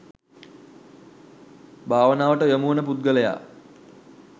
භාවනාවට යොමුවන පුද්ගලයා